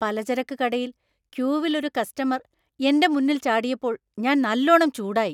പലചരക്ക് കടയിൽ ക്യൂവിൽ ഒരു കസ്റ്റമര്‍ എന്‍റെ മുന്നിൽ ചാടിയപ്പോൾ ഞാൻ നല്ലോണം ചൂടായി.